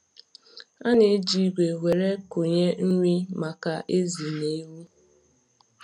A na-eji igwe were kụnye nri maka ezì na ewu.